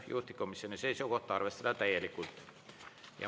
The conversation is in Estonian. Juhtivkomisjoni seisukoht: arvestada täielikult.